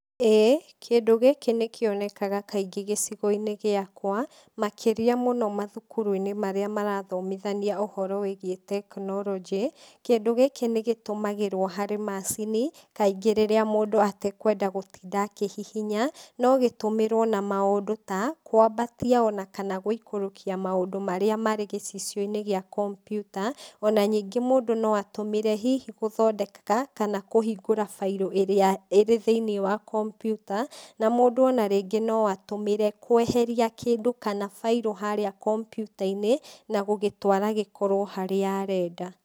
Ĩĩ kĩndũ gĩkĩ nĩkĩonekaga kaingĩ gĩcigo-ĩni gĩakwa makĩria mũno mathukuru-inĩ marĩa marathomithania ũhoro wĩgiĩ tekinoronjĩ. Kĩndũ gĩkĩ nĩ gĩtũmagĩrwo harĩ macini kaingĩ rĩrĩa mũndũ atekwenda gũtinda akĩhihinya, no gĩtũmĩrwo na maũndũ ta; kwambatia o na kana gũikũrũkia maũndũ marĩa marĩ gĩcicio-inĩ gĩa kompiuta o na ningĩ mũndũ no atũmĩre hihi gũthondeka kana kũhingũra bairo ĩrĩa ĩrĩ thĩiniĩ wa kompiuta na mũndũ o na rĩngĩ no atũmĩre kweheria kĩndũ kana bairo harĩa kompiuta-inĩ na gũgĩtwara gĩkorwo harĩa arenda.